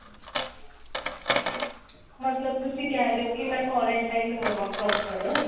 ਮਤਲਬ ਤੁਸੀਂ ਕਿਹ ਰਹੇ ਹੋ ਕੀ ਮੈਂ quarantine ਹੋਵਾਂ proper